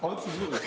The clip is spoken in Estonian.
Vabandust, Lauri!